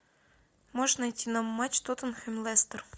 можешь найти нам матч тоттенхэм лестер